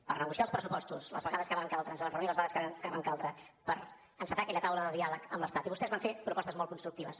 per negociar els pressupostos les vegades que van caldre ens vam reunir les vegades que van caldre per encetar aquella taula de diàleg amb l’estat i vostès van fer propostes molt constructives